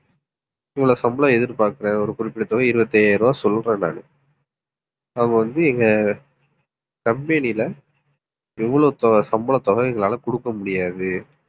இவ்வளவு சம்பளம் எதிர்பார்க்கிறேன். ஒரு குறிப்பிட்ட தொகை இருபத்தி ஐயாயிரம் ரூபாய் சொல்றேன் நான் அவங்க வந்து, எங்க company ல இவ்வளவு தொகை சம்பளத்தொகை எங்களால கொடுக்க முடியாது